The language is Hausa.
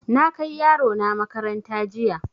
Na kai yaro na makaranta jiya.